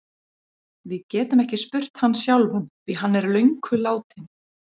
Við getum ekki spurt hann sjálfan því hann er löngu látinn.